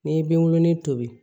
N'i bi wolonwu